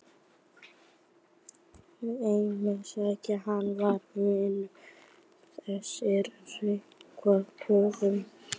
Heimsækja hann í vinnuna, þessir risavöxnu trukkar og malbikunarvélar.